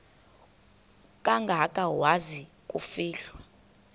kangaka waza kufihlwa